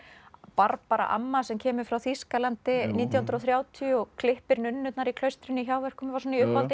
Barbara amma sem kemur frá Þýskalandi nítján hundruð og þrjátíu og klippir nunnurnar í klaustrinu í hjáverkum var svona í uppáhaldi